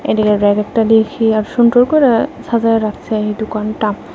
এইদিকের ব়্যাকেরটা দেখি আর সুন্দর কইরা সাজায় রাখসে এই দুকানটা ।